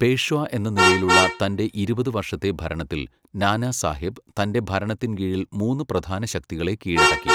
പേഷ്വാ എന്ന നിലയിലുള്ള തൻ്റെ ഇരുപത് വർഷത്തെ ഭരണത്തിൽ, നാനാസാഹെബ് തൻറെ ഭരണത്തിൻ കീഴിൽ മൂന്ന് പ്രധാന ശക്തികളെ കീഴടക്കി.